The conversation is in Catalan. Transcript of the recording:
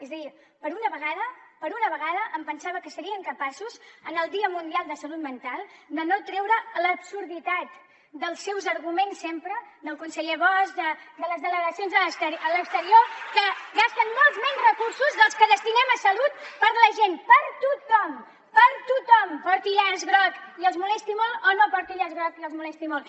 és a dir per una vegada per una vegada em pensava que serien capaços en el dia mundial de salut mental de no treure l’absurditat dels seus arguments sempre del conseller bosch de les delegacions a l’exterior que gasten molts menys recursos dels que destinem a salut per a la gent per a tothom per a tothom porti llaç groc i els molesti molt o no porti llaç groc i els molesti molt